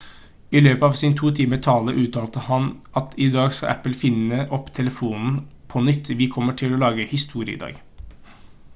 i løpet av sin 2 timers tale uttalte han at «i dag skal apple finne opp telefonen på nytt vi kommer til å lage historie i dag»